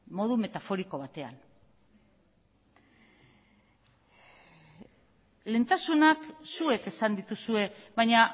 modu metaforiko batean lehentasunak zuek esan dituzue baina